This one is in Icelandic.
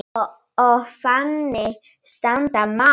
Og þannig standa mál.